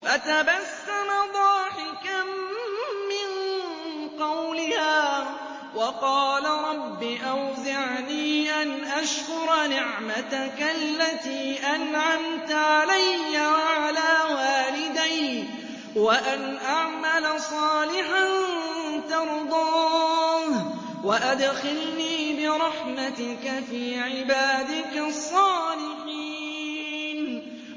فَتَبَسَّمَ ضَاحِكًا مِّن قَوْلِهَا وَقَالَ رَبِّ أَوْزِعْنِي أَنْ أَشْكُرَ نِعْمَتَكَ الَّتِي أَنْعَمْتَ عَلَيَّ وَعَلَىٰ وَالِدَيَّ وَأَنْ أَعْمَلَ صَالِحًا تَرْضَاهُ وَأَدْخِلْنِي بِرَحْمَتِكَ فِي عِبَادِكَ الصَّالِحِينَ